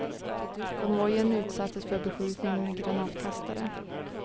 Konvojen utsattes för beskjutning med granatkastare.